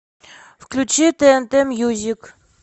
включи тнт мьюзик